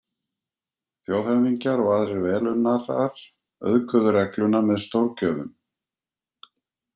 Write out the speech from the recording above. Þjóðhöfðingjar og aðrir velunnarar auðguðu regluna með stórgjöfum.